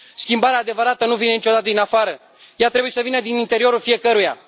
Schimbarea adevărată nu vine niciodată din afară, ea trebuie să vină din interiorul fiecăruia.